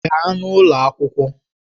Gaa n'ụlọ akwụkwọ!